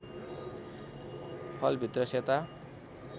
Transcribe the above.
फल भित्र सेता